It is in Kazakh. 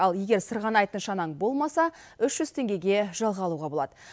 ал егер сырғанайтын шанаң болмаса үш жүз теңгеге жалға алуға болады